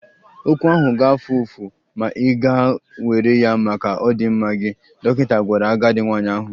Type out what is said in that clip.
Ọgwụ ahụ ga-afụ ụfụ, ma ị ga-ewere ya maka ọdịmma gị, dọkịta gwara agadi nwanyị ahụ.